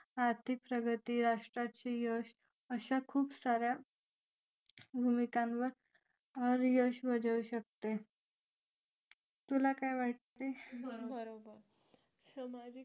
आर्थिक प्रगती राष्ट्राचे यश अशा खुप सार्‍या भूमिकांवर तुला काय वाटते बरोबर